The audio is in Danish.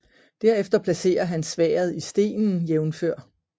Derefter placerer han sværdet i stenen jf